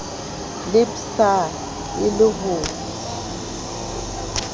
le dpsa e le ho